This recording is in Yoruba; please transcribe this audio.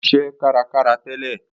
Ó ṣiṣẹ́ kárakára tẹ́lẹ̀